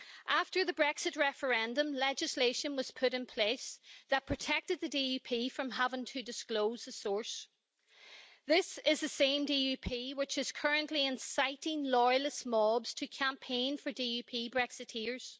After the Brexit referendum, legislation was put in place that protected the DUP from having to disclose the source. This is the same DUP which is currently inciting loyalist mobs to campaign for DUP Brexiteers.